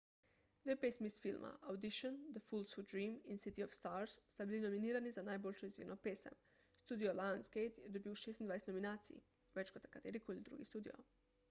dve pesmi iz filma audition the fools who dream in city of stars sta bili nominirani za najboljšo izvirno pesem. studio lionsgate je dobil 26 nominacij – več kot katerikoli drugi studio